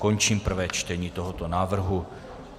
Končím prvé čtení tohoto návrhu.